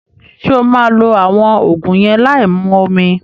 Ṣé o maa lo àwọn Ògùn yẹn láì mu omi